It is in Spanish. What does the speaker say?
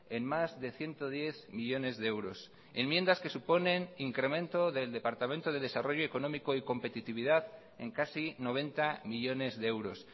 en más de ciento diez millónes de euros enmiendas que suponen incremento del departamento de desarrollo económico y competitividad en casi noventa millónes de euros